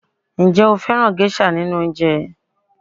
Ǹjẹ́ ó fẹ́ràn gẹ́ṣà nínú oúnjẹ ẹ